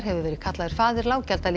hefur verið kallaður faðir